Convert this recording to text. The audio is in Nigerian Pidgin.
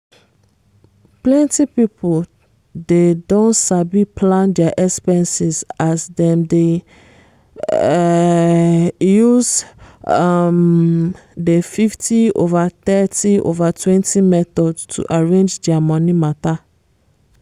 plenty people dey don sabi plan dia expenses as dem di um use um di 50/30/20 method to arrange dia money mata